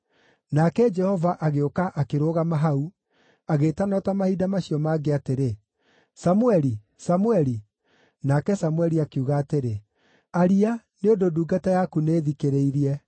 Nake Jehova agĩũka akĩrũgama hau, agĩĩtana o ta mahinda macio mangĩ atĩrĩ, “Samũeli! Samũeli!” Nake Samũeli akiuga atĩrĩ, “Aria, nĩ ũndũ ndungata yaku nĩĩthikĩrĩirie.”